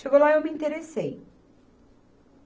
Chegou lá e eu me interessei.